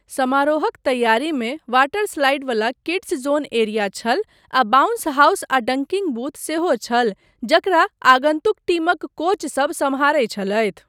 समारोहक तैयारीमे water slide वला किड्स जोन एरिया छल, आ बाउंस हाउस आ डंकिंग बूथ सेहो छल जकरा आगन्तुक टीमक कोचसब सम्हारै छलथि।